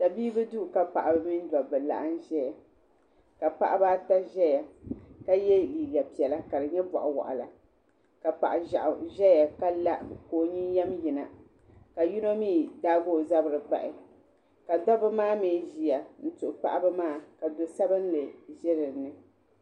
Tabibi duu ka paɣaba mini dabba laɣim zɛya ka paɣaba ata zɛya ka ye liiga piɛlla ka di nyɛ bɔɣi wɔɣila ka paɣi zɛɣu zɛya ka la ka o yiniyam yina ka yino mi daagi o zabiri bahi ka dabba mi ziya m tuhi paɣaba maa ka so sabinli bɛ bini.